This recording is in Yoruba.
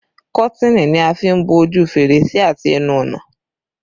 Kọ́tìnì ni a fi n bo ojú fèrèsé àti ẹnu ọ̀nà